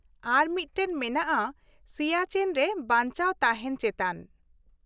ᱟᱨ ᱢᱤᱫᱴᱟᱝ ᱢᱮᱱᱟᱜᱼᱟ ᱥᱤᱭᱟᱪᱮᱱ ᱨᱮ ᱵᱟᱧᱪᱟᱣ ᱛᱟᱦᱮᱱ ᱪᱮᱛᱟᱱ ᱾